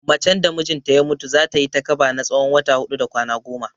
Macen da mijinta ya mutu, za ta yi takaba na tsawon wata huɗu da kwana goma.